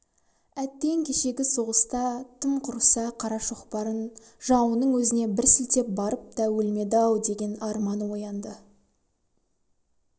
әттең кешегі соғыста тым құрыса қара шоқпарын жауының өзіне бір сілтеп барып та өлмеді-ау деген арман оянды